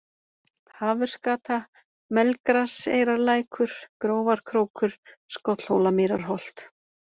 Hafursgata, Melgraseyrarlækur, Grófarkrókur, Skollhólamýrarholt